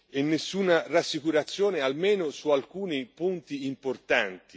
e nessuna rassicurazione, almeno su alcuni punti importanti.